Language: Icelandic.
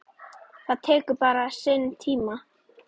Það tekur bara sinn tíma.